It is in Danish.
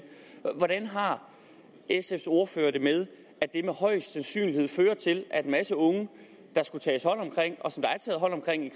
hvordan har sfs ordfører det med at til at en masse unge der skulle tages hånd om og